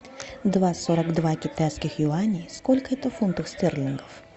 два сорок два китайских юаней сколько это фунтов стерлингов